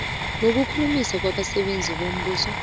nokukhulumisana wabasebenzi bombuso